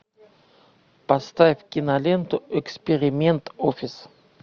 поставь киноленту эксперимент офис